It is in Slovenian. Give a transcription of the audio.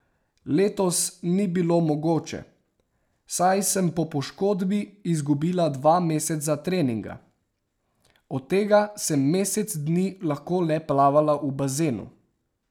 Letos ni bilo mogoče, saj sem po poškodbi izgubila dva meseca treninga, od tega sem mesec dni lahko le plavala v bazenu.